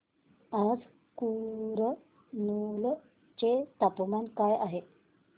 आज कुरनूल चे तापमान काय आहे